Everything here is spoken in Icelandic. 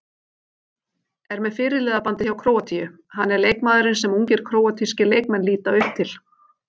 Er með fyrirliðabandið hjá Króatíu, hann er leikmaðurinn sem ungir króatískir leikmenn líta upp til.